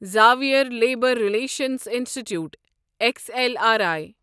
Xavier labour relations institute X L R I